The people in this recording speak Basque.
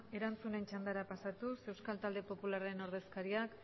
erantzunen txandara pasatuz euskal talde popularraren ordezkariak